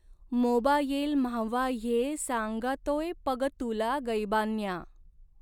Mobile माव्हा ह्ये सांगऽऽतोय पग तुला गैबान्या.